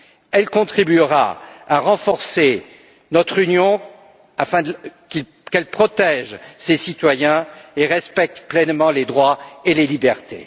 Elle contribuera à renforcer notre Union afin qu'elle protège ses citoyens et respecte pleinement les droits et les libertés.